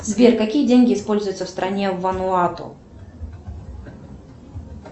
сбер какие деньги используются в стране вануату